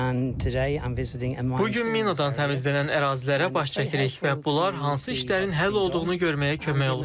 And today I'm visiting Bu gün minadan təmizlənən ərazilərə baş çəkirik və bunlar hansı işlərin həll olduğunu görməyə kömək olur.